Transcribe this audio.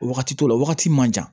Wagati dɔ la wagati ma